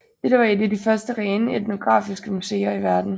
Dette var et af de første rene etnografiske museer i verden